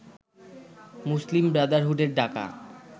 মুসলিম ব্রাদারহুডের ডাকা